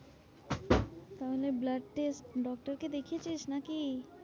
তাহলে blood test doctor কে দেখিয়েছিস নাকি?